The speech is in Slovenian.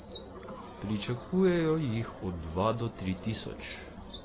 Pričakujejo jih od dva do tri tisoč.